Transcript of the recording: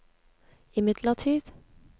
imidlertid